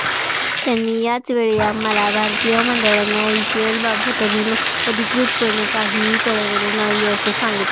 त्यांनी याचवेळी आम्हाला भारतीय मंडळाने आयपीएलबाबत अजून अधिकृतपणे काहीही कळवलेले नाही असे सांगितले